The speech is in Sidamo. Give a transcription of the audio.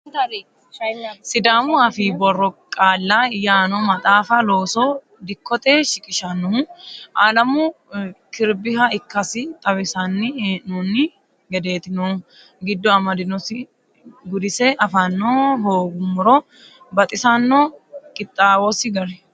Sidaamu afii borro qaalla yaano maxaafa loose dikkote shiqqishinohu Alemu kirbiha ikkasi xawinsanni hee'nonni gedeti noohu giddo amadosi gudise afano hooguummoro baxisano qixxawosi gari.